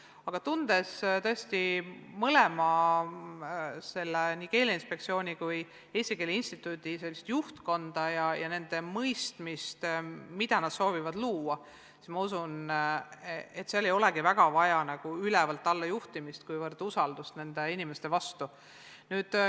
Aga tundes tõesti mõlema asutuse, nii Keeleinspektsiooni kui ka Eesti Keele Instituudi juhtkonda ja teades nende mõistmist, mida nad soovivad luua, ma usun, et seal ei olegi väga vaja niivõrd mingit n-ö ülevalt alla juhtimist, kuivõrd usaldust nende inimeste vastu.